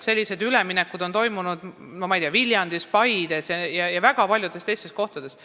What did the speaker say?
Sellised üleminekud on toimunud Viljandis, Paides ja väga paljudes teistes kohtades.